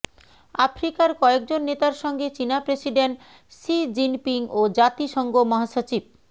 আফ্রিকার কয়েকজন নেতার সঙ্গে চীনা প্রেসিডেন্ট শি জিনপিং ও জাতিসংঘ মাহসচিব